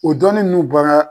O dɔnni ninnu bɔra